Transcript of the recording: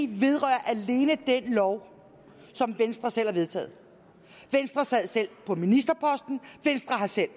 vedrører alene den lov som venstre selv har vedtaget venstre sad selv på ministerposten venstre har selv